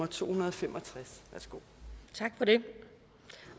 to hundrede og fem og tres og det